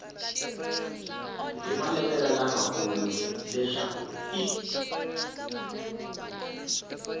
hi maletere lamakulu leswaku i